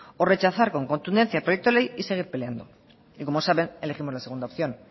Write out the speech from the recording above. o rechazar con contundencia el proyecto de ley y seguir peleando y como saben elegimos la segunda opción